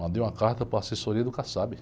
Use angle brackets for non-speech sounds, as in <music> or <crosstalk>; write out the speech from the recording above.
Mandei uma carta para a assessoria do. <unintelligible>